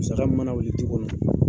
Musaka mun mana wuli ju kɔnɔ